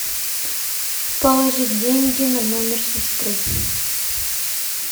положить деньги на номер сестры